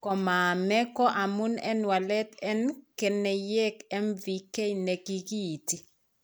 Komaame ko amun en walet en keneyeek MVK ne kikiinti.